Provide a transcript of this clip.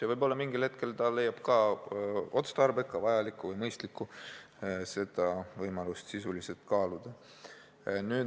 Ja võib-olla mingil hetkel ta leiab olevat otstarbekas, vajalik või mõistlik seda võimalust siiski kaaluda.